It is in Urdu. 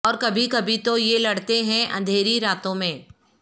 اور کبھی کبھی تو یہ لڑتے ہیں اندھیری راتوں میں